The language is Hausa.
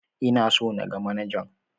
Ina so in ga manajan.